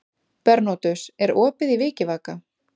Bernódus, er opið í Vikivaka?